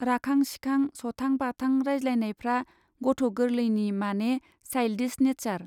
राखां सिखां, सथां बाथां रायज्लायनायफ्रा गथ गोर्लैनि माने साइल्डिस नेचार।